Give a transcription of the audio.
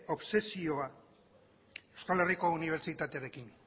obsesioak euskal herriko unibertsitatearekin